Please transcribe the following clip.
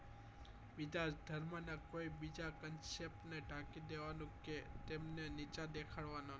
બીજા ધર્મ નાં કોઈ બીઈજા ક્નસ્યાપ ને ઢાંકી દેવા નું કે તેમને નીચા દેખાડવા નાં